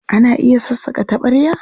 Ana iya sassaƙa taɓarya?